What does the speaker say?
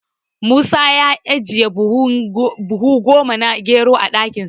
Musa ya ajiye buhu goma na gero a ɗakinsa.